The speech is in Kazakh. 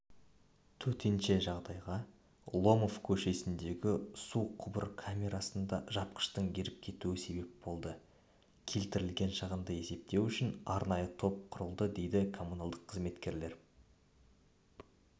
төтенше жағдайға ломов көшесіндегі суқұбыр камерасында жапқыштың еріп кетуі себеп болды келтірілген шығынды есептеу үшін арнайы топ құрылды деді коммуналдық қызметтегілер